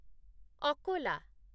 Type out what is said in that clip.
Akola